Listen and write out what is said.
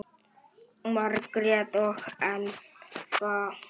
Margrét og Elfa.